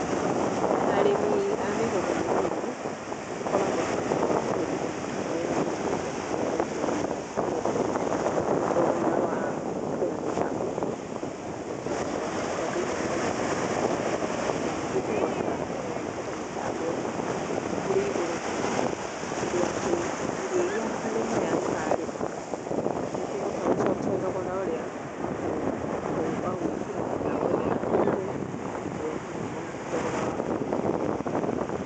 Arĩmi a mĩgũnda mĩnini makoragwo na ũritũ wa kũhũthĩra mĩtambo ya gũitĩrĩria maĩ ya gwĩtwarithia nĩ tondũ thogora wa kũgũra mĩtambo ĩno na kũhota kũmĩkĩra na kũhota kũmĩkĩra thĩiniĩ wa mĩgũnda yaku, na ningĩ kũhota gũtungata mĩtambo ĩno ĩrĩ igũrũ mũno ũndũ atĩ irio iria arĩmi aya mararĩma, itingĩhota gũcokia thogora ũrĩa wagũĩkĩra mĩtambo ĩrĩa na kũmĩgũra oro hamwe na thogora wa kũmĩmenyerera.